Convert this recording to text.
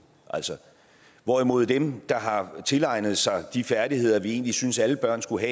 hvorimod det for dem der har tilegnet sig de færdigheder vi egentlig synes alle børn skulle